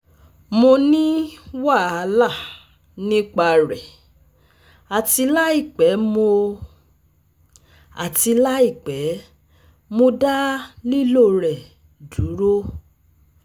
Mo ni wahala nipa rẹ ati laipẹ mo ati laipẹ mo da lilo rẹ duro